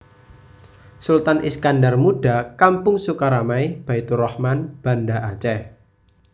Sultan Iskandar Muda Kampung Sukaramai Baitturahman Banda Aceh